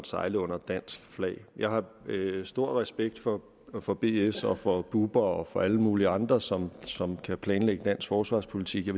sejler under dansk flag jeg har stor respekt for for bs og for bubber og for alle mulige andre som som kan planlægge dansk forsvarspolitik jeg